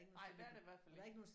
Nej det er der i hvert fald ikke